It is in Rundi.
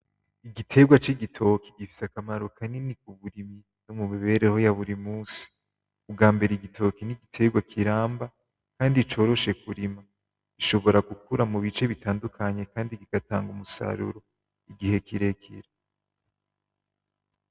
Igiterwa cigitoke gifise akamaro kanini mumibereho ya buri musi ubwambere igitoke nigiterwa kiramba Kandi coroshe kurima , gishobora gukura mubice bitandukanye Kandi bigatanga umusaruro igihe kirekire.